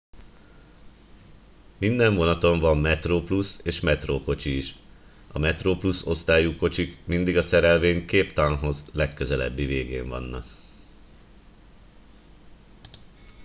minden vonaton van metroplus és metro kocsi is a metroplus osztályú kocsik mindig a szerelvény cape townhoz legközelebbi végén vannak